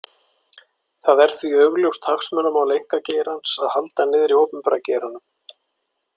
Það er því augljóst hagsmunamál einkageirans að halda niðri opinbera geiranum.